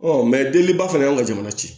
deli ba fana ye anw ka jamana ci